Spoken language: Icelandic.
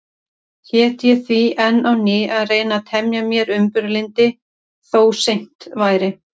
Hét ég því enn á ný að reyna að temja mér umburðarlyndi, þó seint væri.